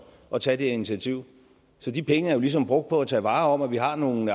at tage det initiativ så de penge er jo ligesom brugt på at tage vare om at vi har nogle